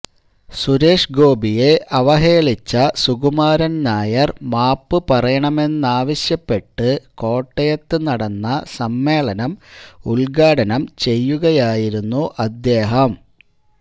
സുരേഷഷഗോപിയെ അവഹേളിച്ച സുകുമാരന് നായര് മാപ്പുപറയണമെന്നാവശ്യപ്പെട്ട് കോട്ടയത്ത് നടന്ന സമ്മേളനം ഉദ്ഘാടനം ചെയ്യുകയായിരുന്നു അദ്ദേഹം